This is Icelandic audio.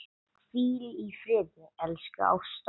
Hvíl í friði, elsku Ásta.